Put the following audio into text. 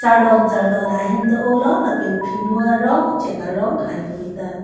chardon chardon ahem do o lo lapen phinu arong chek arong haihui ta do.